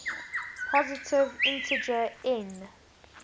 positive integer n